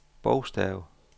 bogstav